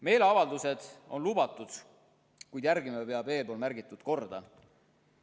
Meeleavaldused on lubatud, kuid järgima peab eespool viidatud korda.